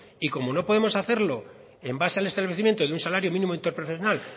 y como no podemos hacerlo en base al establecimiento de un salario mínimo interprofesional